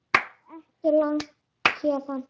Það er ekki langt héðan.